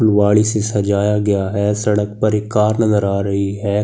वाली से सजाया गया है सड़क पर एक कार नजर आ रही है।